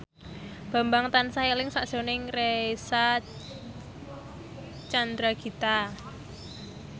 Bambang tansah eling sakjroning Reysa Chandragitta